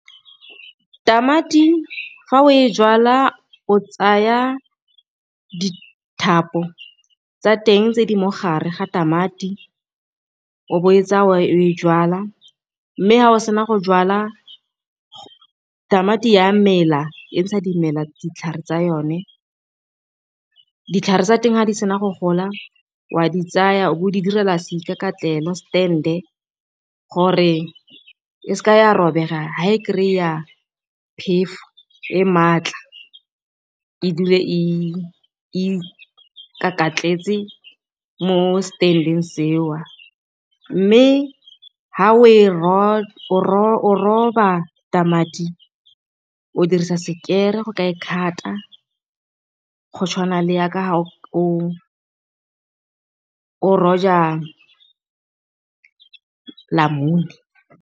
Tamati fa o e jalwa o tsaya dithapo tsa teng tse di mogare ga tamati o bo o etsaya o e jalwa, mme ga o sena go jwala tamati a mela e ntsha dimela, ditlhare tsa yone. Ditlhare tsa teng ga di sena go gola o a di tsaya bo di direla seikakatlelo, stand-e, gore e seke ya robega fa e kry-a phefo e maatla, e dule e ikakatletse mo stand-eng seo. Mme fa o roba tamati o dirisa sekere go ka e cut-a go tshwana le ya ka fa o roja namune.